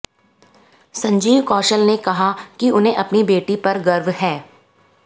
संजीव कौशल ने कहा कि उन्हें अपनी बेटी पर गर्व है